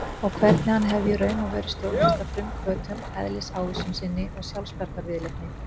Og hvernig hann hefði í raun og veru stjórnast af frumhvötum, eðlisávísun sinni og sjálfsbjargarviðleitni.